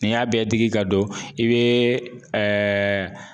N'i y'a bɛɛ digi ka don i be ɛɛ